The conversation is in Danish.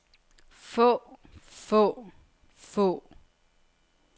få få få